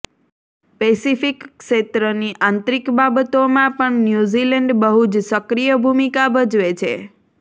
Pacific ક્ષેત્રની આંતરિક બાબતોમાં પણ ન્યૂ ઝિલૅન્ડ બહુજ સક્રિય ભૂમિકા ભજવે છે